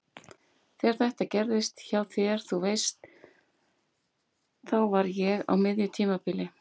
Þegar þetta gerðist hjá þér. þú veist. þá var ég á miðju tímabili.